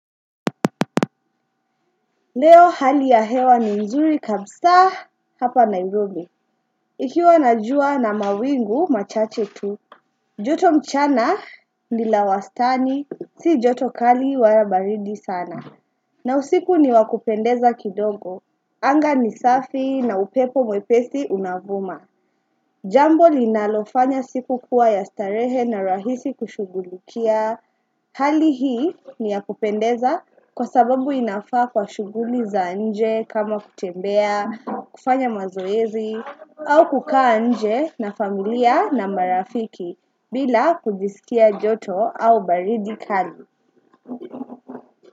Leo hali ya hewa ni mzuri kabisa hapa nairobuli. Ikiwa na jua na mawingu machache tu, joto mchana ni la wastani si joto kali wala baridi sana. Na usiku ni wakupendeza kidongo. Anga ni safi na upepo mwepesi unavuma. Jambo linalofanya siku kuwa ya starehe na rahisi kushughulikia. Hali hii ni ya kupendeza kwa sababu inafaa kwa shughuli za nje kama kutembea, kufanya mazoezi au kukaa nje na familia na marafiki bila kujisikia joto au baridi kali.